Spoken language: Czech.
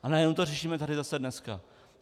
A najednou to řešíme tady zase dneska.